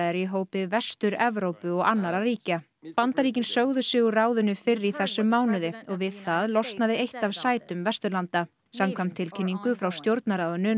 eru í hópi Vestur Evrópu og annarra ríkja Bandaríkin sögðu sig úr ráðinu fyrr í þessum mánuði og við það losnaði eitt af sætum Vesturlanda samkvæmt tilkynningu frá Stjórnarráðinu